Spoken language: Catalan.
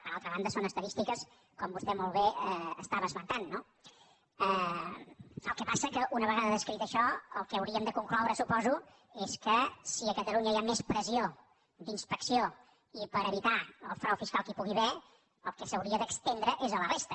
per altra banda són estadístiques com vostè molt bé esmentava no el que passa és que una vegada descrit això el que hauríem de concloure ho suposo és que si a catalunya hi ha més pressió d’inspecció i per evitar el frau fiscal que hi pugui haver el que s’hauria d’estendre és a la resta